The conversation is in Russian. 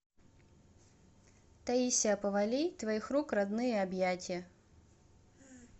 таисия повалий твоих рук родные объятья